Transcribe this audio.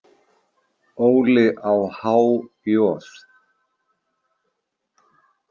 Óli á há joð?